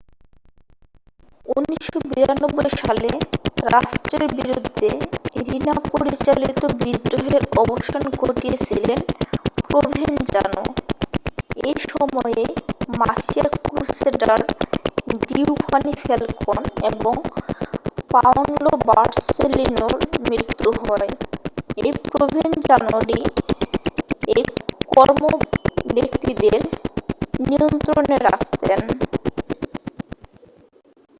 1992 সালে রাষ্ট্রের বিরুদ্ধে রিনা পরিচালিত বিদ্রোহের অবসান ঘটিয়েছিলেন প্রভেনজানো এই সময়েই মাফিয়া ক্রুসেডার ডিওভানি ফ্যালকন এবং পাওনলো বোর্সেলিনোর মৃত্যু হয় এই প্রভেনজানোরই এই কর্তাব্যক্তিদের নিয়ন্ত্রণে রাখতেন